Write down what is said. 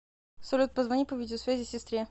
салют позвони по видеосвязи сестре